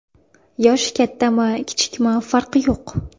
Yoshi kattami, kichikmi farqi yo‘q.